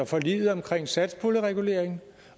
forliget omkring satspuljereguleringen